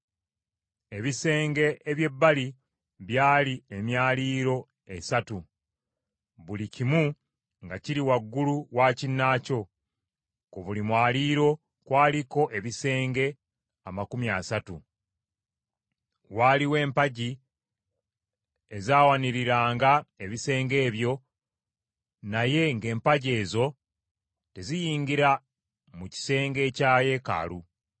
Ebisenge eby’ebbali byali emyaliiro esatu, buli kimu nga kiri waggulu wa kinnaakyo, ku buli mwaliiro kwaliko ebisenge amakumi asatu. Waaliwo empagi ezawaniriranga ebisenge ebyo naye ng’empagi ezo teziyingira mu kisenge ekya yeekaalu.